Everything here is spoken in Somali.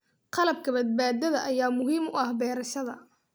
Qalabka badbaadada ayaa muhiim u ah beerashada.